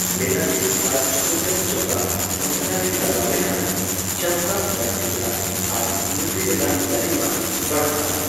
ᱵᱮᱞᱟᱛᱤ ᱟᱨ ᱪᱩᱠᱚᱸᱫᱟᱨ ᱪᱚᱠᱟᱜ ᱢᱚᱸᱦᱰᱟ ᱨᱮ ᱞᱟᱜᱟᱣ ᱞᱮᱠᱷᱟᱱ ᱪᱟᱢᱠᱟᱜ ᱵᱟᱬᱛᱤ ᱟ ᱟᱨ ᱞᱩᱴᱤ ᱨᱮᱱᱟᱜ ᱞᱚᱞᱤᱢᱟ ᱵᱟᱲᱦᱟᱜᱼᱟ ᱾